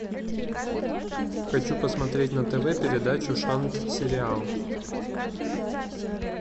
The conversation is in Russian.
хочу посмотреть на тв передачу шант сериал